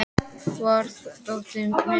Vernharð, hvar er dótið mitt?